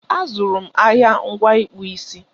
A zụrụ m ahịa ngwa ịkpụ isi